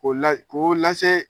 K'o la ko lase